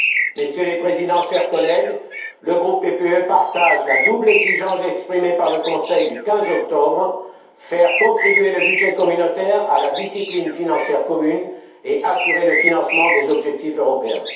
Messieurs les présidents, chers collègues, le groupe PPE partage la double exigence exprimée par le Conseil du 15 octobre faire contribuer le budget communautaire à la discipline financière commune et assurer le financement des objectifs européens.